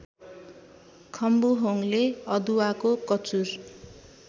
खम्बुहोङले अदुवाको कचुर